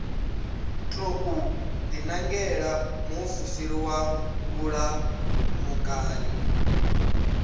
tou dinangela muofisiri wa vhulamukanyi